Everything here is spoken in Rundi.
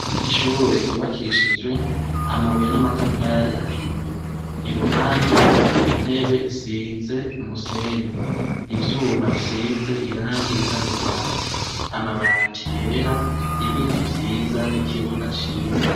Ishure ryubakishijwe amabuye n'amatafari ahiye, iruhande intebe isize umuseny, ivyuma bisize irangi risa n'urwatsi, amabati yera, ibiti vyiza n'ikibuga ciza.